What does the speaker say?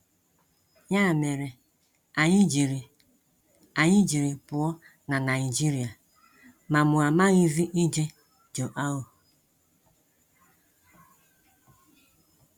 Ya mere, anyị jiri anyị jiri pụọ na Naịjirịa, ma mụ amaghịzị ije João.